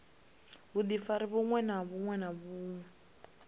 vhudifari vhuṅwe na vhuṅwe vhune